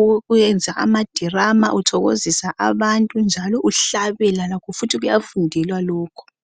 ukuyenza ama drama uthokozisa abantu njalo uhlabela lakho futhi kuyafundelwa lokhu.